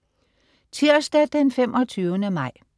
Tirsdag den 25. maj